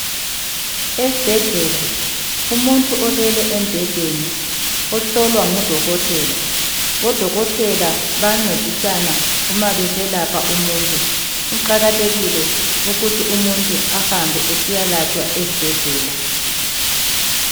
Esibhedlela, umuntu olele embhedeni, ohlolwa ngudokotela, bodokotela bayancedisana uma beselapha umuntu, kuqakathekile ukuthi umuntu ahambe esiyalatshwa esibhedlela.